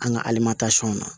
An ka alimamusow na